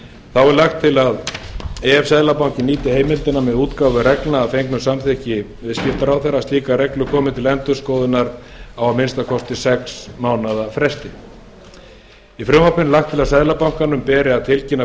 þá er lagt til að ef seðlabankinn nýti heimildina með útgáfu reglna að fengnu samþykki viðskiptaráðherra að slíkar reglur komi til endurskoðunar að minnsta kosti á sex mánaðafresti í frumvarpinu er lagt til að seðlabankanum beri að tilkynna